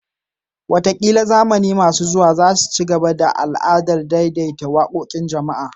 Wataƙila zamani masu zuwa za su ci gaba da al'adar daidaita waƙoƙin jama'a